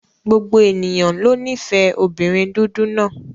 Gbogbo ènìyàn ló nífẹ̀ẹ́ obìnrin dúdú náà.